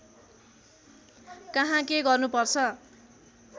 कहाँ के गर्नुपर्छ